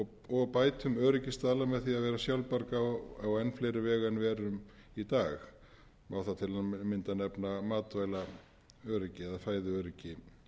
og bætum öryggisstaðla með því að vera sjálfbjarga á enn fleiri vegu en við erum í dag má þar til að mynda nefna matvælaöryggi eða fæðuöryggi